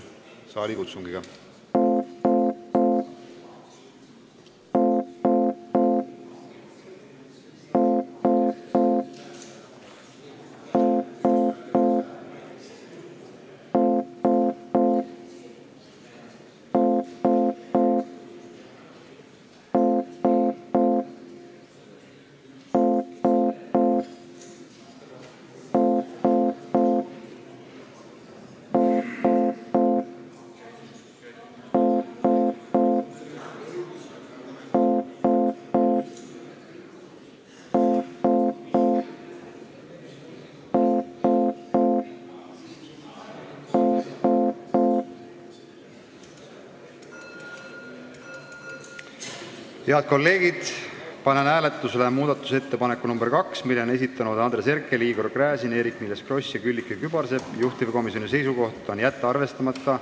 Head kolleegid, panen hääletusele muudatusettepaneku nr 2, mille on esitanud Andres Herkel, Igor Gräzin, Eerik-Niiles Kross ja Külliki Kübarsepp, juhtivkomisjoni seisukoht on jätta arvestamata.